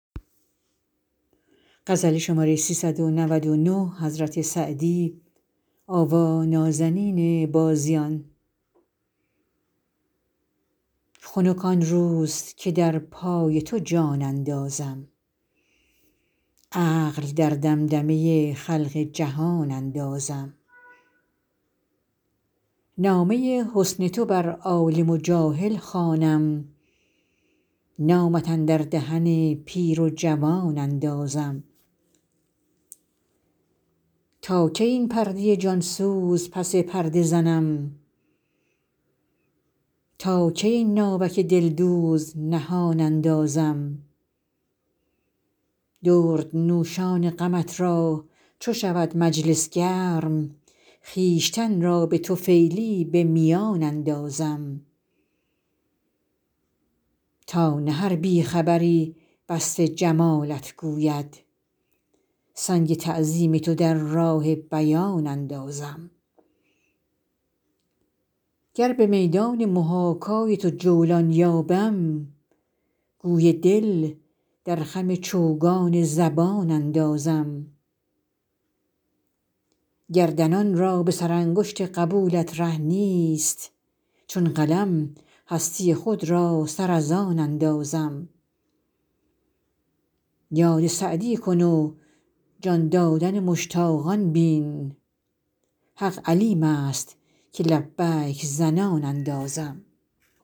خنک آن روز که در پای تو جان اندازم عقل در دمدمه خلق جهان اندازم نامه حسن تو بر عالم و جاهل خوانم نامت اندر دهن پیر و جوان اندازم تا کی این پرده جان سوز پس پرده زنم تا کی این ناوک دلدوز نهان اندازم دردنوشان غمت را چو شود مجلس گرم خویشتن را به طفیلی به میان اندازم تا نه هر بی خبری وصف جمالت گوید سنگ تعظیم تو در راه بیان اندازم گر به میدان محاکای تو جولان یابم گوی دل در خم چوگان زبان اندازم گردنان را به سرانگشت قبولت ره نیست چون قلم هستی خود را سر از آن اندازم یاد سعدی کن و جان دادن مشتاقان بین حق علیم است که لبیک زنان اندازم